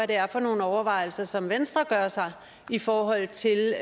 det er for nogle overvejelser som venstre gør sig i forhold til